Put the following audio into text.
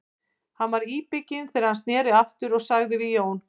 Hann var íbygginn þegar hann sneri aftur og sagði við Jón